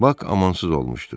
Bak amansız olmuşdu.